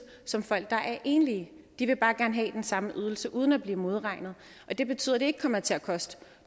som folk der er enlige det vil bare gerne have den samme ydelse uden at blive modregnet og det betyder at det ikke kommer til at koste